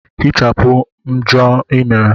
Hichapụ mmejọ ị mere!